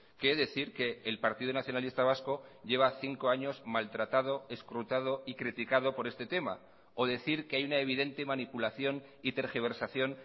que decir que el partido nacionalista vasco lleva cinco años maltratado escrutado y criticado por este tema o decir que hay una evidente manipulación y tergiversación